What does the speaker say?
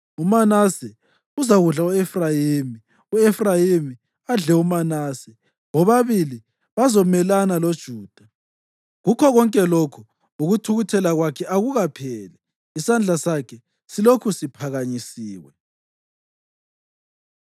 UManase uzakudla u-Efrayimi, u-Efrayimi adle uManase; bobabili bazamelana loJuda. Kukho konke lokhu, ukuthukuthela kwakhe akupheli, isandla sakhe silokhu siphakanyisiwe.